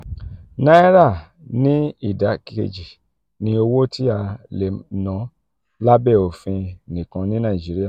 naira ni ida keji ni owo ti a le na labẹ ofin nikan ni naijiria.